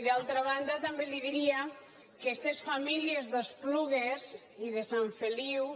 i d’altra banda també li diria que estes famílies d’es·plugues i de sant feliu